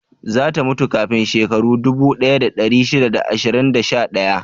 Za ta mutu kafin shekaru dubu ɗaya da ɗari shida da ashirin da sha ɗaya?